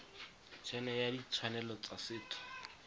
ene ya ditshwanelo tsa setho